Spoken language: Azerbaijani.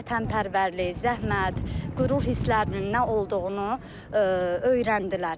Vətənpərvərlik, zəhmət, qürur hisslərinin nə olduğunu öyrəndilər.